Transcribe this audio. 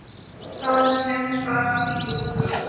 Staðnum var því lokað.